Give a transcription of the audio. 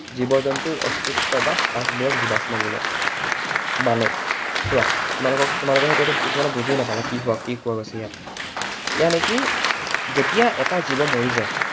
জীৱ জন্তুৰ অস্তিত্ব বা সাঁচ বোৰক জীৱাশ্ম বোলে। মানে, চোৱা। তোমালোকক, তোমালোকে হয়তো কিছুমানে এইটো বুজিও নাপালা কি কোৱা গৈছে ইয়াত। যেতিয়া এটা জীৱ মৰি যায়